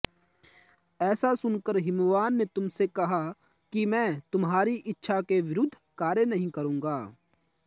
ऐसा सुनकर हिमवान् ने तुमसे कहा कि मैं तुम्हारी इच्छा के विरुद्ध कार्य नहीं करूंगा